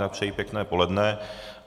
Jinak přeji pěkné poledne.